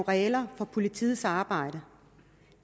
regler for politiets arbejde